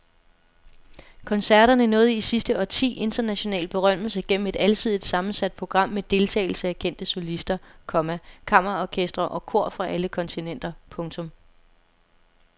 Koncerterne nåede i sidste årti international berømmelse gennem et alsidigt sammensat program med deltagelse af kendte solister, komma kammerorkestre og kor fra alle kontinenter. punktum